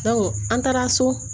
an taara so